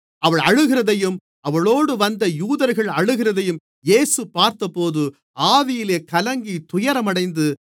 அவள் அழுகிறதையும் அவளோடு வந்த யூதர்கள் அழுகிறதையும் இயேசு பார்த்தபோது ஆவியிலே கலங்கித் துயரமடைந்து